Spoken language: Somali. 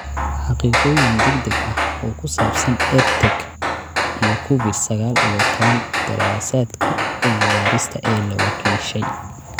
Xaqiiqooyin degdeg ah oo ku saabsan EdTech iyo Covid sagaal iyo tobbaan daraasaadka cilmi-baarista ee la wakiishay.